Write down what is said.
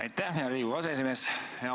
Aitäh, hea Riigikogu aseesimees!